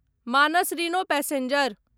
Manas rhino passenger